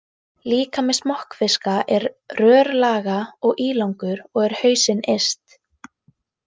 Líkami smokkfiska er rörlaga og ílangur og er hausinn yst.